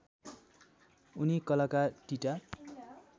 उनी कलाकार टिटा